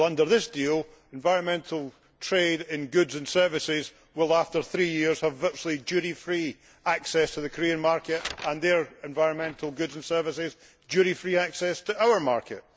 Well, under this deal, environmental trade in goods and services will, after three years, have virtually duty free access to the Korean market and their environmental goods and services duty free access to our market.